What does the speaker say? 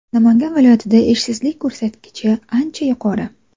Namangan viloyatida ishsizlik ko‘rsatkichi ancha yuqori.